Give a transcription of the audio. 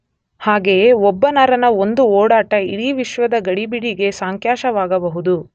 ಹಾಗೆಯೇ ಒಬ್ಬ ನರನ ಒಂದು ಓಡಾಟ ಇಡೀ ವಿಶ್ವದ ಗಡಿಬಿಡಿಗೆ ಸಾಕ್ಷ್ಯವಾಗಬಹುದು